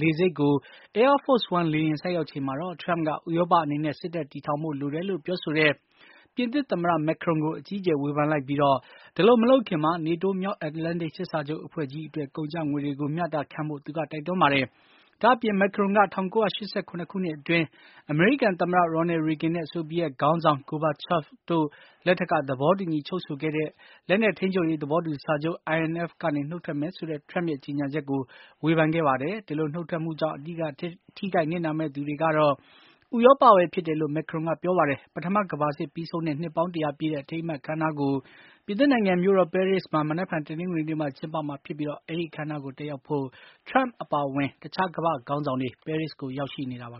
လေဆိပ်ကို Air Force 1 လေယာဉ် ဆိုက်ရောက်ချိန်မှာတော့ ထရမ့်က ဥရောပအနေနဲ့ စစ်တပ်တည်ထောင်ဖို့ လိုတယ်လို့ ပြောဆိုတဲ့ ပြင်သစ်သမ္မတ မက်ခရွန်ကို အကြီးအကျယ် ဝေဖန်လိုက်ပြီး ဒီလိုမလုပ်ခင်မှာ NATO မြောက်အတ္တလန်တိတ်စစ်စာချုပ် အဖွဲ့ကြီး အတွက် ကုန်ကျငွေတွေကို မျှတခံဖို့ သူက တိုက်တွန်းပါတယ်။ မက်ခရွန်ကလည်း ၁၉၈၇ ခုနှစ် အတွင်း အမေရိကန် သမ္မတ Ronald Reagan နဲ့ ဆိုဗီယက်ခေါင်းဆောင် Gorbachev တို့ လက်ထက်က သဘောတူညီချုပ်ဆိုခဲ့တဲ့လက်နက် ထိန်း ချုပ်ရေး သဘောတူစာချုပ် INF ကနေ နုတ်ထွက်မယ်ဆိုတဲ့ ထရမ့်ရဲ့ ကြေညာချက်ကိုလည်း ဝေဖန်ခဲ့ပါတယ်။ ဒီလို နုတ်ထွက်မှာကြောင့် အဓိက ထိခိုက်နစ်နာမယ့်သူကတော့ ဥရောပပဲဖြစ်တယ်လို့လည်း မက်ခရွန်က ပြောပါတယ်။ ပထမကမ္ဘာစစ်ပြီးဆုံးခဲ့တဲ့ နှစ်ပေါင်းတရာပြည့်တဲ့ အထိမ်းအမှတ်အခမ်းအနားကို ပြင်သစ်နိုင် ငံမြို့ တော် ပဲရစ်စ်မှာ မနက်ဖြန် တနင်္ဂနွေနေ့မှာ ကျင်းပမှာဖြစ်ပြီး အဲဒီအခမ်းအနားကို ကို တက်ရောက်ဖို့ ထရမ့်အပါအဝင် တခြားကမ္ဘာ့ခေါင်းဆောင်တွေ ပဲရစ်ကို ရောက်ရှိနေတာပါ